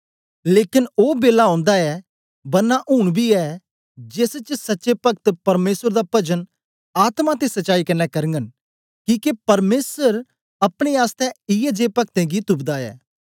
लेकन ओ बेला ओंदा ऐ बरना ऊन बी ऐ जेस च सच्चे पक्त परमेसर दा पजन आत्मा ते सच्चाई कन्ने करगन किके परमेसर अपने आसतै इयै जे पकतें गी तुपदा ऐ